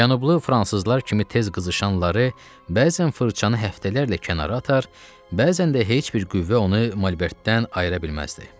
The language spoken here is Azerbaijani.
Cənublu fransızlar kimi tez qızışan Lare bəzən fırçanı həftələrlə kənara atar, bəzən də heç bir qüvvə onu malbertdən ayıra bilməzdi.